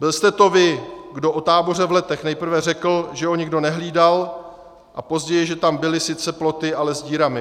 Byl jste to vy, kdo o táboře v Letech nejprve řekl, že ho nikdo nehlídal, a později že tam byly sice ploty, ale s dírami.